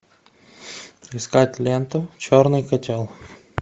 искать ленту черный котел